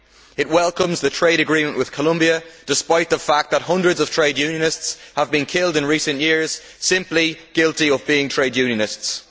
It welcomes the trade agreement with Colombia, despite the fact that hundreds of trade unionists have been killed in recent years, guilty simply of being trade unionists.